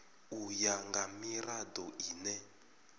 u ya nga mirado ine